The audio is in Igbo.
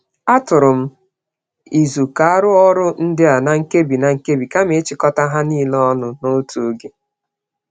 A tụnyerem izu ka arụọ ọrụ ndịa na-nkebi-na-nkebi kama ịchịkọta ha nile ọnụ n'otu ógè